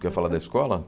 Quer falar da escola?